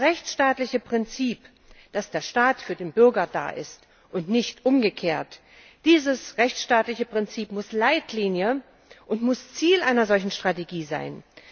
Das rechtsstaatliche Prinzip, dass der Staat für den Bürger da ist und nicht umgekehrt, dieses rechtsstaatliche Prinzip muss Leitlinie und muss Ziel einer solchen Strategie sein.